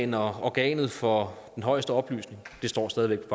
når organet for den højeste oplysning det står stadig væk